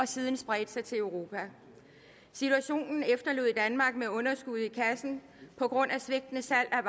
siden spredte sig til europa situationen efterlod danmark med underskud i kassen på grund af svigtende salg af